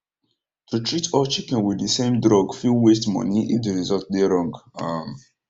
to treat all chicken with the same drug fit waste money if the result dey wrong um